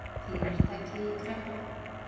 Fyrirtæki í kreppu.